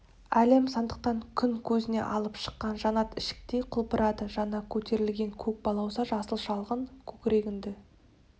әлем сандықтан күн көзіне алып шыққан жанат ішіктей құлпырады жаңа көтерілген көк балауса жасыл шалғын көкірегіңді